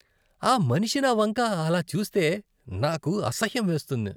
ఆ మనిషి నా వంక అలా చూస్తే నాకు అసహ్యం వేస్తుంది.